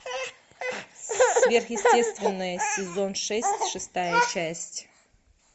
сверхъестественное сезон шесть шестая часть